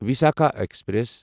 Visakha express